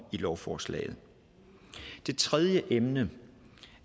i lovforslaget det tredje emne